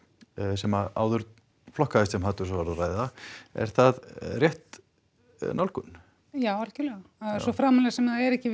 sem áður flokkaðist sem hatursorðræða er það rétt nálgun já algjörlega svo framarlega sem það er ekki